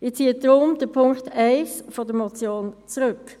Ich ziehe den Punkt 1 der Motion deshalb zurück.